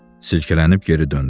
Silkələnib geri döndü.